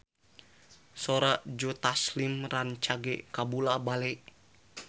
Sora Joe Taslim rancage kabula-bale